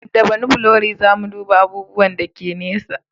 Da banofkulari za mu duba abubuwan da ke nesa